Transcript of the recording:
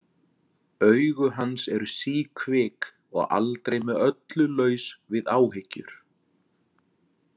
Augu hans eru síkvik og aldrei með öllu laus við áhyggjur.